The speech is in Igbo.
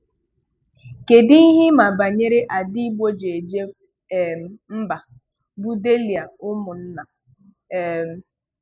Kedụ ihe ị ma banyere ada Igbo ji eje um mba bụ Dehlia Umunna? um